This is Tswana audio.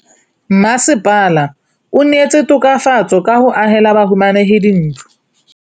Mmasepala o neetse tokafatsô ka go agela bahumanegi dintlo.